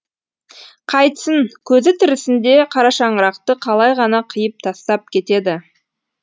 қайтсін көзі тірісінде қарашаңырақты қалай ғана қиып тастап кетеді